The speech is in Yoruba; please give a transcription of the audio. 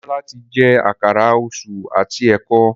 Demola tí jé Àkàrà Òṣú àti eko.